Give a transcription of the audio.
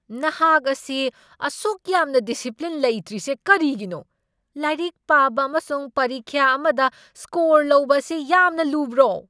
ꯅꯍꯥꯛ ꯑꯁꯤ ꯑꯁꯨꯛꯌꯥꯝꯅ ꯗꯤꯁꯤꯄ꯭ꯂꯤꯟ ꯂꯩꯇ꯭ꯔꯤꯁꯦ ꯔꯀꯤꯒꯤꯅꯣ? ꯂꯥꯏꯔꯤꯛ ꯄꯥꯕ ꯑꯃꯁꯨꯡ ꯄꯔꯤꯈ꯭ꯌꯥ ꯑꯃꯗ ꯁ꯭ꯀꯣꯔ ꯂꯧꯕ ꯑꯁꯤ ꯌꯥꯝꯅ ꯂꯨꯕ꯭ꯔꯣ?